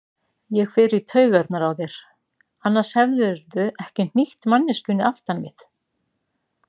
Ég fer í taugarnar á þér, annars hefðirðu ekki hnýtt manneskjunni aftan við.